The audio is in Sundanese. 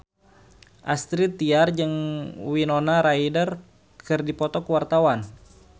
Astrid Tiar jeung Winona Ryder keur dipoto ku wartawan